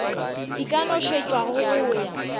di ka nošetšwago go ya